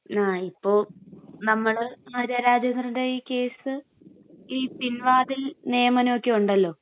ങാ..ഇപ്പൊ..നമ്മള്..ആര്യാ രാജേന്ദ്രൻ്റെ ഈ കേസ്...ഈ പിൻവാതിൽ നിയമനമൊക്കെ ഉണ്ടല്ലോ..